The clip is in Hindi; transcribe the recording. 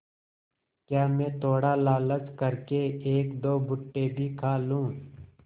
क्या मैं थोड़ा लालच कर के एकदो भुट्टे भी खा लूँ